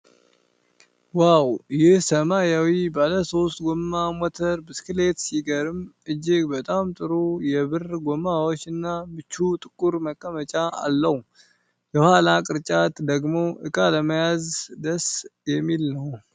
ዋው! ይህ ሰማያዊ ባለ ሶስት ጎማ ሞተር ብስክሌት ሲገርም! እጅግ በጣም ጥሩ የብር ጎማዎች እና ምቹ ጥቁር መቀመጫ አለው። የኋላው ቅርጫት ደግሞ ዕቃ ለመያዝ ደስ የሚል ነው።